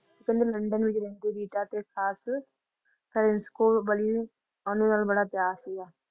ਕਹਿੰਦੇ ਲੰਡਨ ਵਿੱਚ ਰਿੰਕੂ ਰੀਟਾ ਤੇ ਖਾਸ ਪ੍ਰਿੰਸ ਕੋਲਬਲੀ ਓਹਦੇ ਨਾਲ ਬੜਾ ਪਿਆਰ ਸੀਗਾ